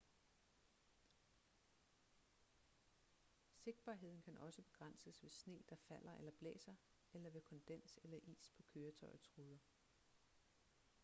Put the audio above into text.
sigtbarheden kan også begrænses ved sne der falder eller blæser eller ved kondens eller is på køretøjets ruder